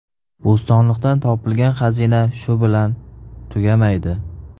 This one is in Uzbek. Bo‘stonliqdan topilgan xazina shu bilan tugamaydi.